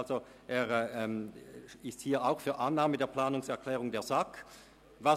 Er spricht sich hier auch für die Annahme der Planungserklärung der SAK aus.